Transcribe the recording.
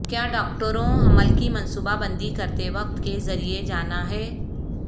کیا ڈاکٹروں حمل کی منصوبہ بندی کرتے وقت کے ذریعے جانا ہے